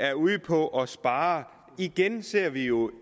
er ude på at spare igen ser vi jo